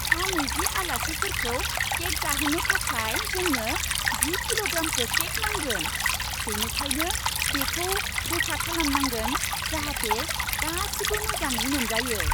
सा नैजि आलासिफोरखौ केक जाहोनो थाखाय जोंनो जि किल'ग्रामसो केक नांगोन। बेनिखायनो बेखौ रोखा खालामनांगोन जाहाथे गासिबो मोजाङै मोनजायो।